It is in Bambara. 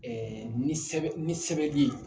ni sɛbɛn ni sɛbɛn bɛ ye.